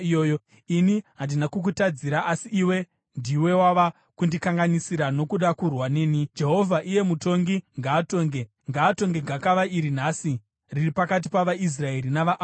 Ini handina kukutadzira asi iwe ndiwe wava kundikanganisira nokuda kurwa neni. Jehovha, iye mutongi ngaatonge, ngaatonge gakava iri nhasi riri pakati pavaIsraeri navaAmoni.”